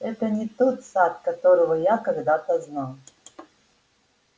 это не тот сатт которого я когда-то знал